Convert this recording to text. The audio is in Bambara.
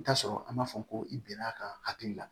I bi t'a sɔrɔ an b'a fɔ ko i bɛn'a ka hakili la